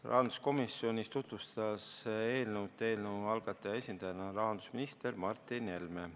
Rahanduskomisjonis tutvustas eelnõu selle algataja esindajana rahandusminister Martin Helme.